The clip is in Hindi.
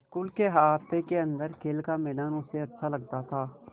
स्कूल के अहाते के अन्दर खेल का मैदान उसे अच्छा लगता था